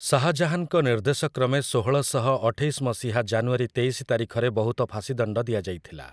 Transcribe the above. ଶାହାଜାହାନ୍‌ଙ୍କ ନିର୍ଦ୍ଦେଶ କ୍ରମେ ଷୋହଳ ଶହ ଅଠେଇଶ ମସିହା ଜାନୁଆରୀ ତେଇଶି ତାରିଖରେ ବହୁତ ଫାଶୀଦଣ୍ଡ ଦିଆଯାଇଥିଲା ।